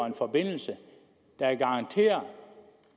en forbindelse der garanterer